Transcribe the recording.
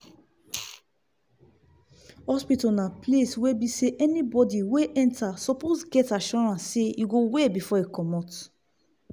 hospital na place wey be say anybody wey enter suppose get assurance say e go well before e commot